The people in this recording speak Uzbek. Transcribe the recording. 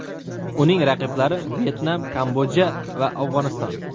Uning raqiblari: Vyetnam, Kambodja va Afg‘oniston.